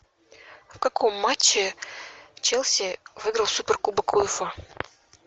в каком матче челси выиграл суперкубок уефа